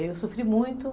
E eu sofri muito.